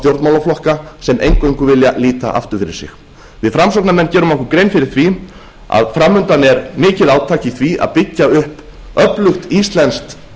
stjórnmálaflokka sem eingöngu vilja líta aftur fyrir sig við framsóknarmenn gerum okkur grein fyrir því að fram undan er mikið átak í því að byggja upp öflugt íslenskt